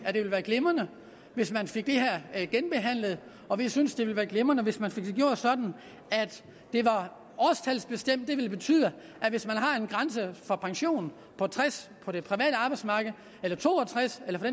at det ville være glimrende hvis man fik det her genbehandlet og vi synes det ville være glimrende hvis man fik det gjort sådan at det bliver årstalsbestemt det vil betyde at hvis man har en grænse for pension på tres år på det private arbejdsmarked eller to og tres eller for